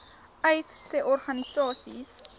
uys sê organisasies